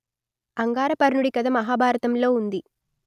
అంగారపర్ణుడి కథ మహాభారతంలో ఉంది